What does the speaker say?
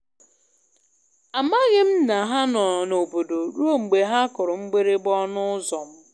Amaghị m na ha nọ n'obodo ruo mgbe ha kụrụ mgbịrịgba ọnụ ụzọ m.